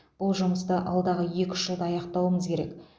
бұл жұмысты алдағы екі үш жылда аяқтауымыз керек